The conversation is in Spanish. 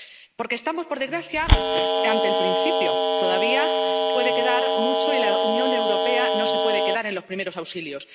Porque estamos, por desgracia, ante el principio. Todavía puede quedar mucho y la Unión Europea no se puede quedar en los primeros auxilios.